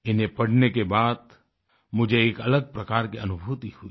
इन्हें पढ़ने के बाद मुझे एक अलग प्रकार की अनुभूति हुई